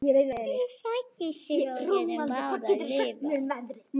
Ég fæddist til að við gætum báðar lifað.